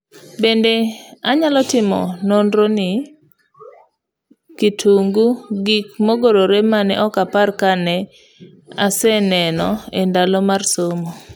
Bende nanyalo timo nonro ni kitungu ,gik mogorre mane ok apar kana see neno endalona mar somo.